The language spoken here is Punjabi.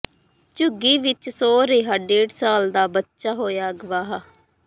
ਝੁੱਗੀ ਵਿੱਚ ਸੌਂ ਰਿਹਾ ਡੇਢ ਸਾਲ ਦਾ ਬੱਚਾ ਹੋਇਆ ਅਗਵਾਹ